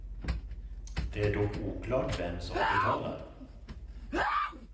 Det är dock oklart vem som betalar.